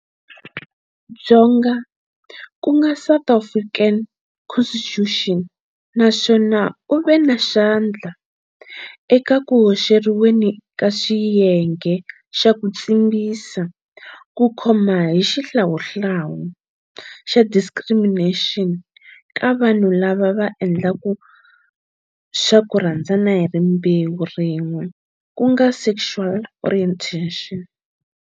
Dzonga ku nga South African Constitution na swona u ve na xandla eka ku hoxeriweni ka xiyenge xa ku tshimbisa ku khoma hi xihlawuhlawu xa discrimination ka vanhu lava va endlaku swa ku rhandzana hi rimbewu rin'we ku nga sexual orientation.